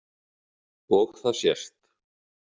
Og það sést